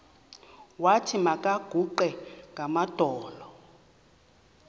wathi makaguqe ngamadolo